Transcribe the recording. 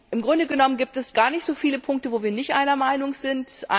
Im Grunde genommen gibt es gar nicht so viele Punkte, bei denen wir nicht einer Meinung sind.